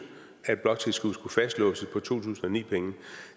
at bloktilskuddet skulle fastlåses på to tusind og ni penge